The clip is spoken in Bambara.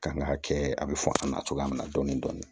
Kan k'a kɛ a bɛ fɔ an na cogoya min na dɔɔnin-dɔɔnin